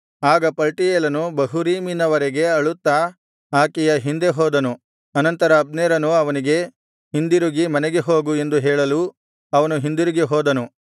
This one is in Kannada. ಆಗ ಪಲ್ಟೀಯೇಲನು ಬಹುರೀಮಿನವರೆಗೆ ಅಳುತ್ತಾ ಆಕೆಯ ಹಿಂದೆ ಹೋದನು ಅನಂತರ ಅಬ್ನೇರನು ಅವನಿಗೆ ಹಿಂದಿರುಗಿ ಮನೆಗೆ ಹೋಗು ಎಂದು ಹೇಳಲು ಅವನು ಹಿಂದಿರುಗಿ ಹೋದನು